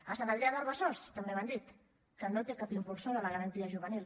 a sant adrià del besòs també m’han dit que no té cap impulsor de la garantia juvenil